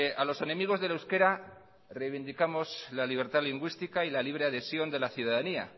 a los enemigos del euskera reivindicamos la libertad lingüística y la libre adhesión de la ciudadanía